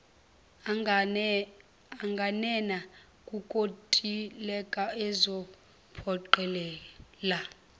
anganena kukontileka ezophoqelela